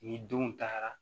Ni denw taara